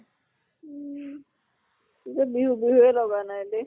উম কিযে বিহু বিহুয়ে লগা নাই দেই।